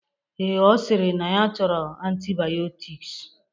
Ee, Ọ sịrị na ya chọrọ antibayọtiks